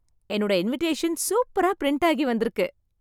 என்னோட இன்விடேஷன் சூப்பரா பிரிண்டாய் வந்திருக்கு